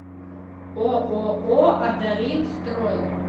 ооо адалин строй